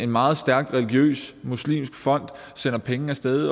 meget stærk religiøs muslimsk fond sender penge af sted